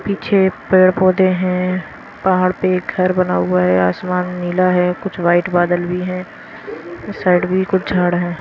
पीछे पेड़-पौधे हैं पहाड़ पे घर बना हुआ है आसमान नीला है कुछ वाइट बादल भी हैं इस साइड भी कुछ झाड़ हैं।